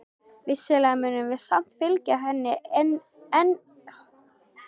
Vissulega munum við samt fylgja henni enn um sinn.